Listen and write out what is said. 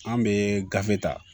An bɛ gafe ta